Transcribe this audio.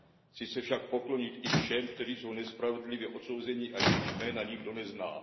Chci se však poklonit i všem, kteří jsou nespravedlivě odsouzeni a jejichž jména nikdo nezná.